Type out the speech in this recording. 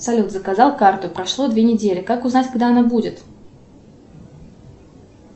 салют заказал карту прошло две недели как узнать когда она будет